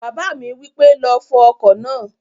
Bàbá mi wípé, "lọ fọ ọkọ̀ náà!"